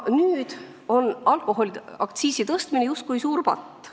Nüüd on alkoholiaktsiisi tõstmine justkui suur patt.